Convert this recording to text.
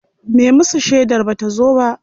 Me musu shedar bata zo ba.